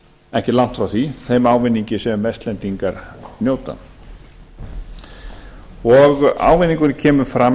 ekki langt frá þeim ávinningi sem vestlendingar njóta ávinningurinn kemur fram